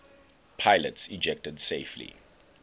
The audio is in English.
pilots ejected safely